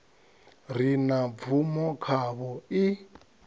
re na bvumo khavho i